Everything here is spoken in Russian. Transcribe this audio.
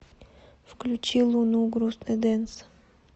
включи луну грустный дэнс